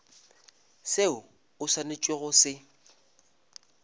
seo o swanetšego go se